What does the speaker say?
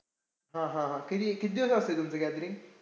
हा हा. किती किती दिवस असतंय तुमचं gathering?